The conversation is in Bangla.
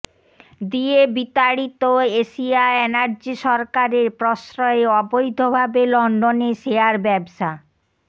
দিয়ে বিতাড়িত এশিয়া এনার্জি সরকারের প্রশ্রয়ে অবৈধভাবে লন্ডনে শেয়ার ব্যবসা